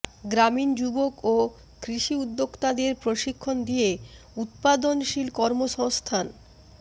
গ্রামীণ যুবক ও কৃষি উদ্যোক্তাদের প্রশিক্ষণ দিয়ে উৎপাদনশীল কর্মসংস্থান